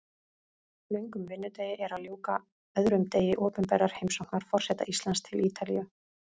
Löngum vinnudegi er að ljúka, öðrum degi opinberrar heimsóknar forseta Íslands til Ítalíu.